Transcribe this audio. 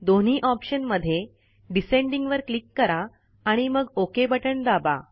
दोन्ही ऑप्शन मध्ये डिसेंडिंग वर क्लिक करा आणि मग ओक बटण दाबा